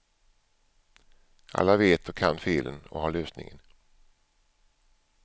Alla vet och kan felen och har lösningen.